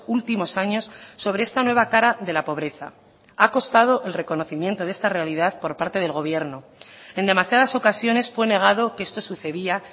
últimos años sobre esta nueva cara de la pobreza ha costado el reconocimiento de esta realidad por parte del gobierno en demasiadas ocasiones fue negado que esto sucedía